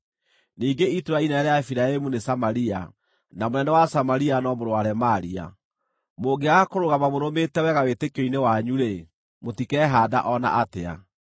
Ningĩ itũũra inene rĩa Efiraimu nĩ Samaria, na mũnene wa Samaria no mũrũ wa Remalia. Mũngĩaga kũrũgama mũrũmĩte wega wĩtĩkio-inĩ wanyu-rĩ, mũtikehaanda o na atĩa.’ ”